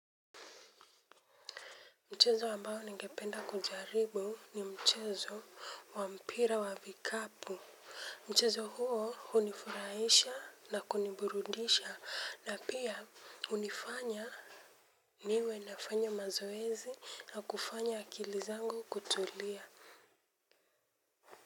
Mchezo ambao ningependa kujaribu ni mchezo wa mpira wa vikapu. Mchezo huo hunifurahisha na kuniburudisha na pia hunifanya, niwe nafanya mazoezi na kufanya akili zangu kutulia.